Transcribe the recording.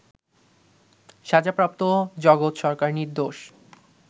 সাজাপ্রাপ্ত জগৎ সরকার নির্দোষ